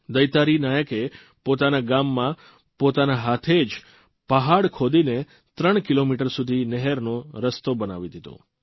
દૈતારી નાયકે પોતાના ગામમાં પોતાના હાથે જ પહાડ ખોદીને 3 કિલોમીટર સુધી નહેરનો રસ્તો બનાવી દીધો